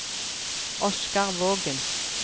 Oscar Vågen